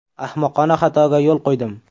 Ahmoqona xatoga yo‘l qo‘ydim.